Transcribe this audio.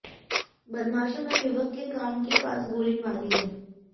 बदमाशों ने युवक के कान के पास गोली मारी है